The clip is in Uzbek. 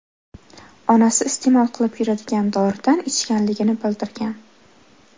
onasi iste’mol qilib yuradigan doridan ichganligini bildirgan.